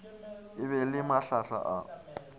e ba le mahlahla a